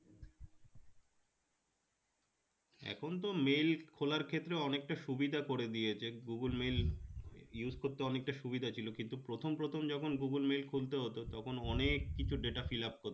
এখন তো mail খোলার ক্ষেত্রে অনেকটা সুবিধা করে দিয়েছে google mail use করতে অনেকটা সুবিধা ছিল কিন্তু প্রথম প্রথম যখন google mail খুলতে হতো তখন অনেককিছু data fill up কর